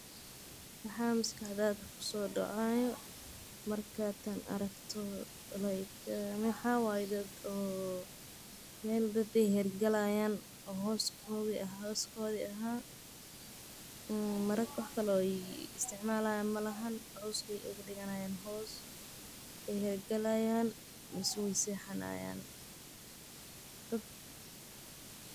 Maxaa maskaxda ku soo dhacaya markaad tan aragto, like maxaa waye dad o meel daab ee hergalayan,o hoskodii ahay, ee mark wax kalee o ee isticmalayin majirto, coos bee ogaa diganayan hoos, mase weey hergalayan mase weey sexanayan, dad.